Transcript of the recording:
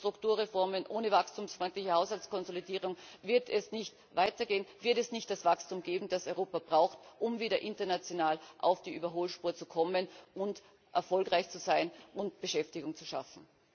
Ohne Strukturreformen, ohne wachstumsfreundliche Haushaltskonsolidierung wird es nicht weitergehen, wird es nicht das Wachstum geben, das Europa braucht, um wieder international auf die Überholspur zu kommen und erfolgreich zu sein und Beschäftigung zu schaffen.